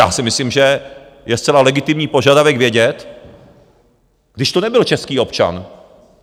Já si myslím, že je zcela legitimní požadavek vědět, kdy to nebyl český občan.